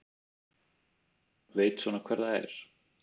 Veit svona hver það er.